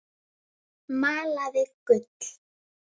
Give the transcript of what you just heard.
Malaði gull.